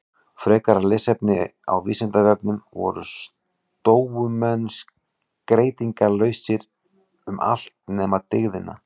Frekara lesefni á Vísindavefnum: Voru stóumenn skeytingarlausir um allt nema dygðina?